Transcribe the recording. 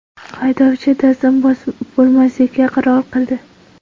Haydovchi taslim bo‘lmaslikka qaror qildi.